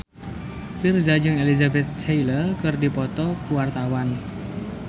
Virzha jeung Elizabeth Taylor keur dipoto ku wartawan